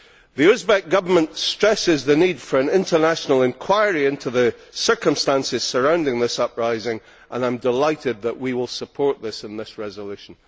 The Uzbek Government stresses the need for an international inquiry into the circumstances surrounding this uprising, and I am delighted that we will support this in this resolution.